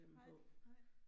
Nej nej